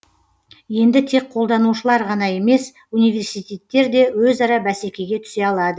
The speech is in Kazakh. енді тек қолданушылар ғана емес университеттер де өзара бәсекеге түсе алады